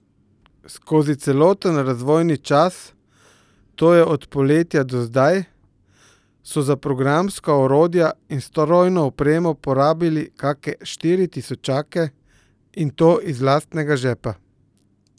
Skozi celoten razvojni čas, to je od poletja do zdaj, so za programska orodja in strojno opremo porabili kake štiri tisočake, in to iz lastnega žepa.